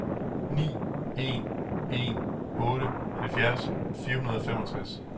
ni en en otte halvfjerds fire hundrede og femogtres